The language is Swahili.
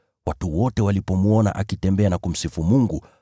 Watu wote walipomwona akitembea na kumsifu Mungu,